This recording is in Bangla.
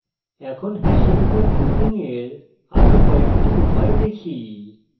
এখন hash উপর looping এর আরো কয়েকটি উপায় দেখি